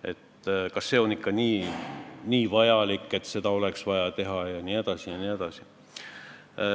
tehtud, on ikka nii vajalikud, kas seda kõike oleks vaja teha jne.